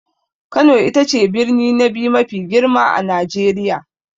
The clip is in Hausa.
Kano ita ce birni na biyu mafi girma a Najeriya.